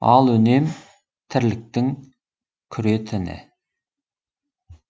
ал үнем тірліктің күре тіні